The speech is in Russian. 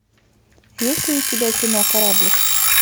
есть ли у тебя кино кораблик